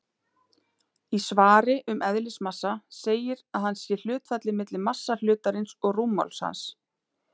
Í svari um eðlismassa segir að hann sé hlutfallið milli massa hlutarins og rúmmáls hans.